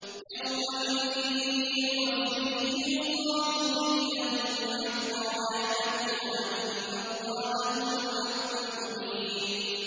يَوْمَئِذٍ يُوَفِّيهِمُ اللَّهُ دِينَهُمُ الْحَقَّ وَيَعْلَمُونَ أَنَّ اللَّهَ هُوَ الْحَقُّ الْمُبِينُ